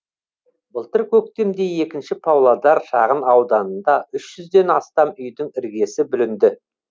былтыр көктемде екінші павлодар шағын ауданында үш жүзден астам үйдің іргесі бүлінді